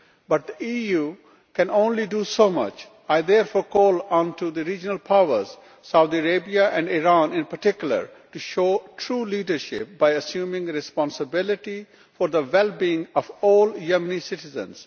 but the EU can only do so much. I therefore call on the regional powers, Saudi Arabia and Iran in particular, to show true leadership by assuming responsibility for the well being of all Yemeni citizens.